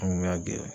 An kun y'a gɛrɛ